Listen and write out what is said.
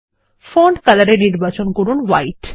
font colorএ নির্বাচন করুন হোয়াইট